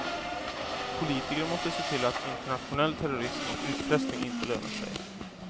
Politiker måste se till att internationell terrorism och utpressning inte lönar sig.